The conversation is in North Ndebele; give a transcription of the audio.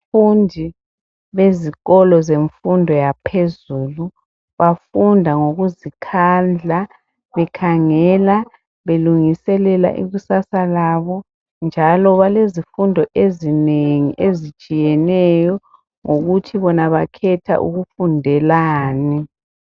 Abafundi bezikolo zemfundo yaphezulu bafunda ngokuzikhandla bekhangela belungiselela ikusasa labo njalo balezifundo ezinengi ezitshiyeneyo ngokuthi bona bakhetha ukufundelani.